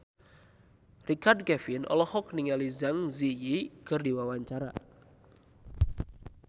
Richard Kevin olohok ningali Zang Zi Yi keur diwawancara